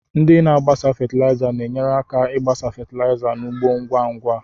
Ndị na-agbasa fatịlaịza na-enyere aka ịgbasa fatịlaịza n'ugbo ngwa ngwa.